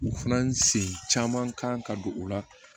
U fana sen caman kan ka don o la